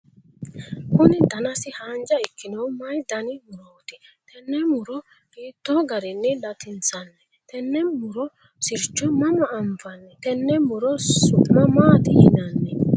kuni danasi haanja ikkinohu mayii dani murooti? tenne muro hiittoo garinni latinsanni? tenne muro sircho mama anfanni? tenne muro su'ma maati yinanni?